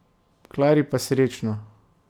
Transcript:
Klari pa srečno!